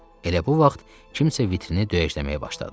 Elə bu vaxt kimsə vitrini döyəcləməyə başladı.